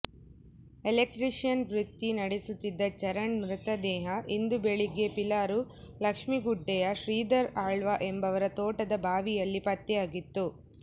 electrician ವೃತ್ತಿ ನಡೆಸುತ್ತಿದ್ದ ಚರಣ್ ಮೃತದೇಹ ಇಂದು ಬೆಳಿಗ್ಗೆ ಪಿಲಾರು ಲಕ್ಷ್ಮೀಗುಡ್ಡೆಯ ಶ್ರೀಧರ್ ಆಳ್ವ ಎಂಬವರ ತೋಟದ ಬಾವಿಯಲ್ಲಿ ಪತ್ತೆಯಾಗಿತ್ತು